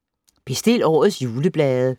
Bestil årets juleblade